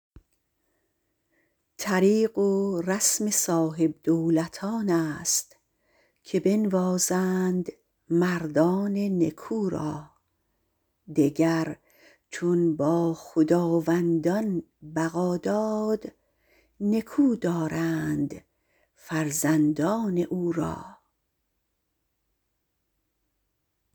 طریق و رسم صاحبدولتانست که بنوازند مردان نکو را دگر چون با خداوندان بقا داد نکو دارند فرزندان او را